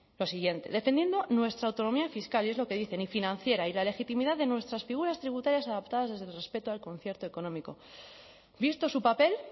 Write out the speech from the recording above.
lo siguiente defendiendo nuestra autonomía fiscal y es lo que dicen y financiera y la legitimidad de nuestras figuras tributarias adaptadas desde el respeto al concierto económico visto su papel